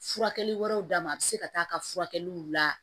Furakɛli wɛrɛw d'a ma a bɛ se ka taa ka furakɛliw la